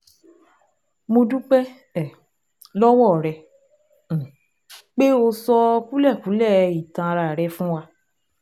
Mo dúpẹ́ um lọ́wọ́ rẹ um pé o sọ kúlẹ̀kúlẹ̀ ìtàn ara rẹ fún wa